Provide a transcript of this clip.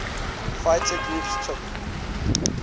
fighter groups took